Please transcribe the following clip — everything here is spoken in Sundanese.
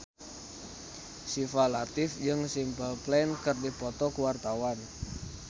Syifa Latief jeung Simple Plan keur dipoto ku wartawan